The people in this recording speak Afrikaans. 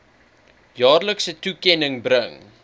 jaarlikse toekenning bring